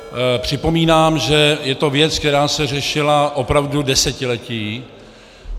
Připomínám, že je to věc, která se řešila opravdu desetiletí.